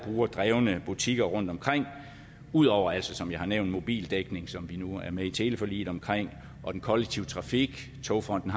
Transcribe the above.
brugerdrevne butikker rundtomkring ud over altså som jeg har nævnt mobildækning som vi nu er med i teleforliget omkring og den kollektive trafik togfonden